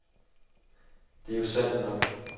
Det er jo sandt nok.